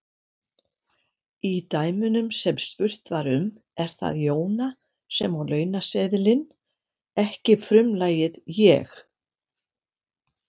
Í dæmunum sem spurt var um er það Jóna sem á launaseðilinn, ekki frumlagið ég.